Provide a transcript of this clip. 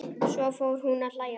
Svo fór hún að hlæja.